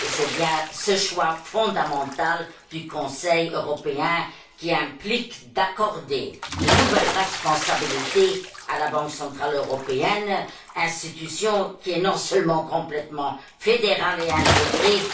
Et c'est bien ce choix fondamental du Conseil européen qui implique d'accorder de nouvelles responsabilités à la Banque centrale européenne institution qui, en plus d'être complètement fédérale et intégrée,